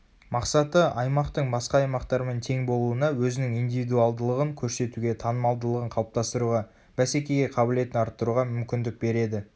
мақсаты аймақтың басқа аймақтармен тең болуына өзінің индивидуалдылығын көрсетуге танымалдығын қалыптастыруға бәсекеге қабілетін арттыруға мүмкіндік береді